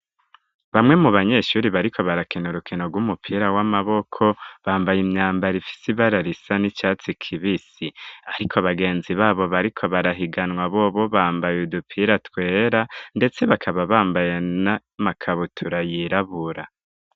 Bamwe mu banyeshuri bariko barakina urukino gw'umupira w'amaboko ,bambaye imyambara ifise ibara risa n'icatsi kibisi, ariko bagenzi babo bariko barahiganwa bobo bambaye udupira twera ,ndetse bakaba bambaye nimakabutura yirabura.